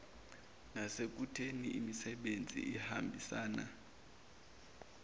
nasekutheni isisebenzi sihambisane